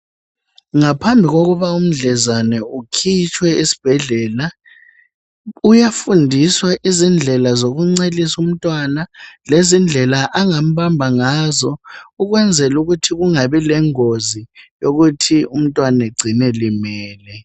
Ngaphandle kokuba umdlezane ekhitshwe esibhedlela uyafundiswa indlela zokuncelisa umntwana lendlela angambamba ngazo ukwenzela ukuthi kungabi lengozi umntwana acine elimele.